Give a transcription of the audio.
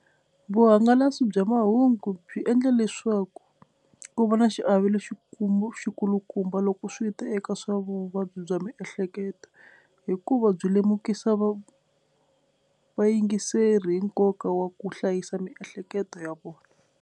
Vuhangalasi bya mahungu byi endla leswaku ku va na xiave lexikulu xikulukumba loko swi ta eka swa vuvabyi bya miehleketo hikuva byi lemukisa va vayingiseri hi nkoka wa ku hlayisa miehleketo ya vona.